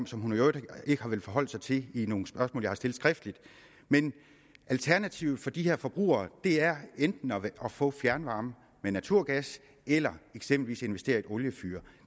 som hun i øvrigt ikke har villet forholde sig til i nogle spørgsmål jeg har stillet skriftligt men alternativet for de her forbrugere er enten at få fjernvarme med naturgas eller eksempelvis investere i et oliefyr